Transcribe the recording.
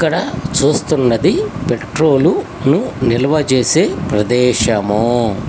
ఇక్కడ చూస్తున్నది పెట్రోలు ను నిల్వ చేసే ప్రదేశము